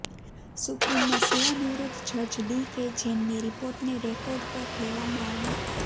સુપ્રીમનાં સેવાનિવૃત જજ D K જૈનની રીપોર્ટને રેકોર્ડ પર લેવામાં આવ્યું